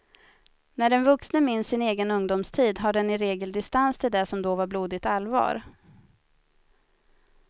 När den vuxne minns sin egen ungdomstid har den i regel distans till det som då var blodigt allvar.